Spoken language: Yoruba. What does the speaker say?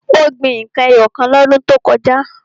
Ó gbin n kan ẹyọ kan lọ́dún tó kọjá.